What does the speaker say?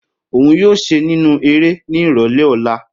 Oun yoo ṣe ninu ere ni irọlẹ ọla.